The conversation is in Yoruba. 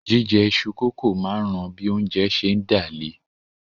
Jíjẹ iṣu-kókò máa ń ran bí oúnjẹ ń ṣé dà le